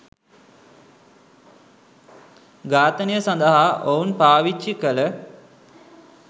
ඝාතනය සඳහා ඔවුන් පාවිච්චි කළ